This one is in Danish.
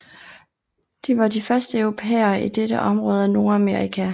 De var de første europæere i dette område af Nordamerika